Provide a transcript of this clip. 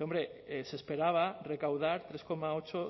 hombre se esperaba recaudar tres coma ocho